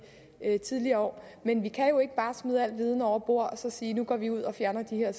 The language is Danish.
tidligere år men vi kan jo ikke bare smide al viden over bord og så sige at nu går vi ud og fjerner de her